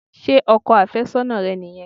Ṣé ọkọ àfẹ́sọ́nà rẹ nìyẹn?